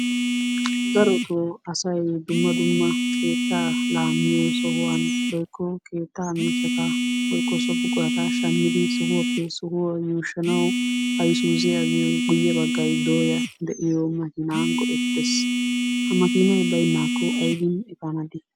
Darottoo asay dumma dumma keettaa laamiyo sohuwa woykko keettaa miishshata woykko so buqurata shammidi sohuwappe sohuwaa yuushshanaw Ayssuuziyaa giyo guyyee baggay dooyya de'iyo makina go"ettes. Ha makiinay baynnakko aybbin efaana dii?